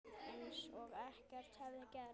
Eins og ekkert hefði gerst.